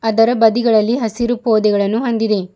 ಇದರ ಬದಿಗಳಲ್ಲಿ ಹಸಿರು ಪೊದೆಗಳನ್ನು ಹೊಂದಿದೆ.